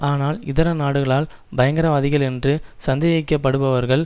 ஆனால் இதர நாடுகளால் பயங்கரவாதிகள் என்று சந்தேகிக்கப்படுபவர்கள்